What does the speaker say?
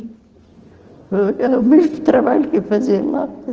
Foi o mesmo trabalho que eu fazia lá.